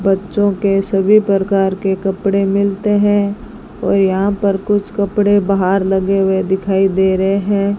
बच्चों के सभी प्रकार के कपड़े मिलते हैं और यहां पर कुछ कपड़े बाहर लगे हुए दिखाई दे रहे हैं।